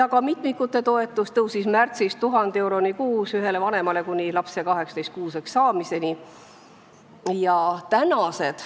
Ka mitmikute toetus tõusis märtsis 1000 euroni kuus, seda makstakse ühele vanemale kuni lapse 18-kuuseks saamiseni.